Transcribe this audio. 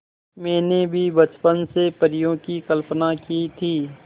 मैंने भी बचपन से परियों की कल्पना की थी